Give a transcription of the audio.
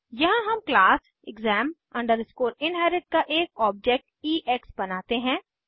यहाँ हम class exam inherit का एक ऑब्जेक्ट ईएक्स बनाते हैं